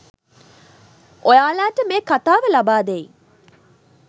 ඔයාලට මේ කතාව ලබාදෙයි.